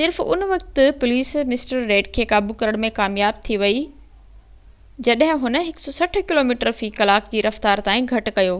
صرف ان وقت پوليس مسٽر ريڊ کي قابو ڪرڻ ۾ ڪامياب ويئي جڏهن هن 160 ڪلوميٽر في ڪلاڪ جي رفتار تائين گهٽ ڪيو